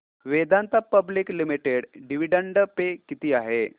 Vedanta public limited dividend pay किती आहे